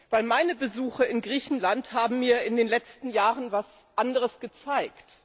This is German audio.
Denn meine Besuche in Griechenland haben mir in den letzten Jahren etwas anderes gezeigt.